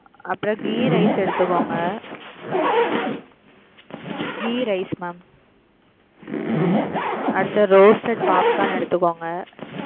அப்புறம் ghee rice எடுத்துக்கோங்க ghee rice mam அடுத்து roasted popcorn எடுத்துகோங்க.